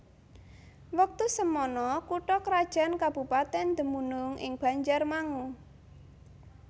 Wektu semana kutha krajan kabupatèn dumunung ing Banjarmangu